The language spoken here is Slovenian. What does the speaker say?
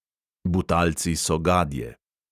Butalci so gadje.